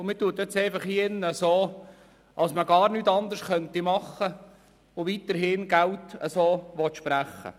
Man tut in diesem Saal so, als könnte man gar nichts anderes tun und will weiterhin Geld sprechen.